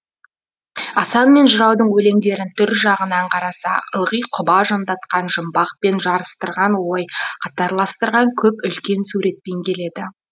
асан мен жыраудың өлеңдерін түр жағынан қарасақ ылғи құба жондатқан жұмбақ пен жарыстырған ой қатарластырған көп үлкен суретпен келеді